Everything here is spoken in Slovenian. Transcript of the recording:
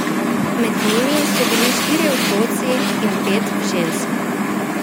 Med njimi so bili štirje otroci in pet žensk.